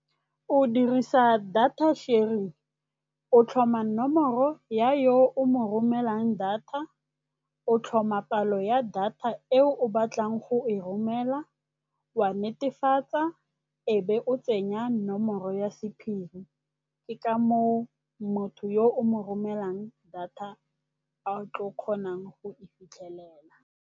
O dirisa data sharing, o tlhoma nomoro ya yo o mo romelang data, o tlhoma palo ya data eo o batlang go e romela, wa netefatsa e be o tsenya nomoro ya sephiri. Ke ka moo motho yo o mo romelang data a tlo kgonang go e fitlhelela.